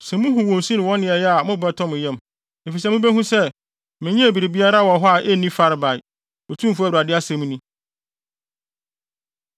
Sɛ muhu wɔn su ne wɔn nneyɛe a mo bo bɛtɔ mo yam, efisɛ mubehu sɛ, menyɛɛ biribiara wɔ hɔ a enni farebae, Otumfo Awurade asɛm ni.”